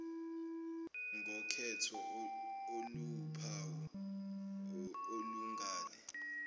ngokhetho oluwuphawu olungale